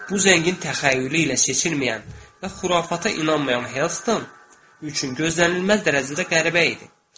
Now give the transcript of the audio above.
Bu zəngin təxəyyülü ilə seçilməyən və xurafata inanmayan Helston üçün gözlənilməz dərəcədə qəribə idi.